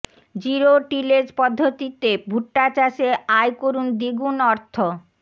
zero tillage পদ্ধতিতে ভুট্টা চাষে আয় করুন দ্বিগুণ অর্থ